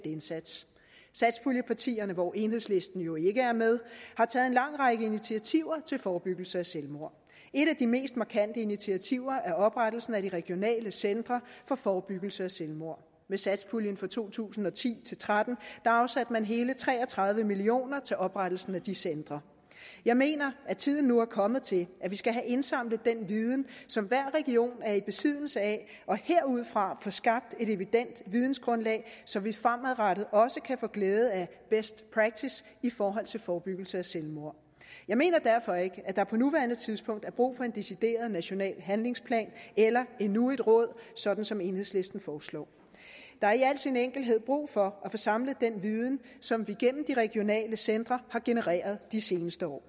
indsats satspuljepartierne hvor enhedslisten jo ikke er med har taget en lang række initiativer til forebyggelse af selvmord et af de mest markante initiativer er oprettelsen af de regionale centre for forebyggelse af selvmord med satspuljen for to tusind og ti til tretten afsatte man hele tre og tredive million kroner til oprettelse af de centre jeg mener at tiden nu er kommet til at vi skal have indsamlet den viden som hver region er i besiddelse af og herudfra få skabt et evident vidensgrundlag så vi fremadrettet også kan få glæde af best practice i forhold til forebyggelse af selvmord jeg mener derfor ikke at der på nuværende tidspunkt er brug for en decideret national handlingsplan eller endnu et råd sådan som enhedslisten foreslår der er i al sin enkelthed brug for at få samlet den viden som vi gennem de regionale centre har genereret de seneste år